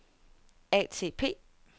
ATP